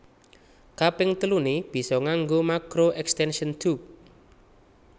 Kaping teluné bisa nganggo makro extention tube